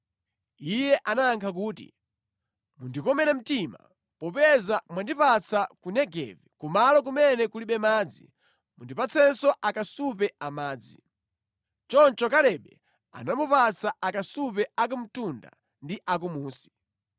Iye anayankha kuti, “Mundikomere mtima. Popeza mwandipatsa ku Negevi, kumalo kumene kulibe madzi, mundipatsenso akasupe amadzi.” Choncho Kalebe anamupatsa akasupe a kumtunda ndi a kumunsi.